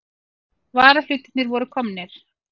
Varahlutirnir voru komnir.